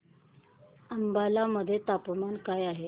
अंबाला मध्ये तापमान काय आहे